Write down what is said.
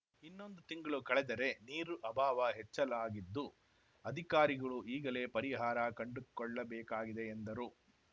ಇನ್ನೊಂದು ತಿಂಗಳು ಕಳೆದರೆ ನೀರು ಅಭಾವ ಹೆಚ್ಚಾಲಾಗಿದ್ದು ಅಧಿಕಾರಿಗಳೂ ಈಗಲೇ ಪರಿಹಾರ ಕಂಡುಕೊಳ್ಳಬೇಕಾಗಿದೆ ಎಂದರು